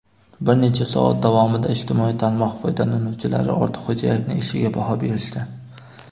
Bir necha soat davomida ijtimoiy tarmoq foydalanuvchilari Ortiqxo‘jayevning ishiga baho berishdi.